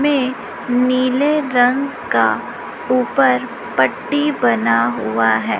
में नीले रंग का ऊपर पट्टी बना हुआ है।